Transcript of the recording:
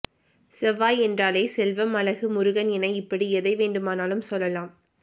செவ்வாய் என்றாலே செல்வம் அழகு முருகன் என இப்படி எதை வேண்டுமானாலும் சொல்லலாம்